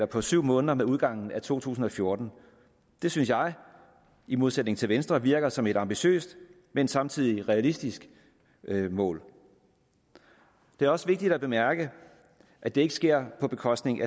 på syv måneder med udgangen af to tusind og fjorten det synes jeg i modsætning til venstre virker som et ambitiøst men samtidig realistisk mål det er også vigtigt at bemærke at det ikke sker på bekostning